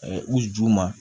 u ju ma